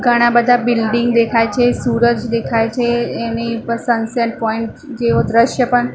ઘણા બધા બિલ્ડીંગ દેખાય છે સુરજ દેખાય છે એની પર સનસેટ પોઇન્ટ જેવો દ્રશ્ય પણ --